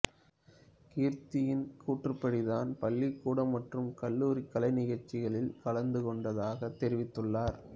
கிரிதியின் கூற்றுப்படி தான் பள்ளிக்கூடம் மற்றும் கல்லூரிக் கலைநிகழ்ச்சிகளில் கலந்துகொண்டதாகத் தெரிவித்துள்ளார்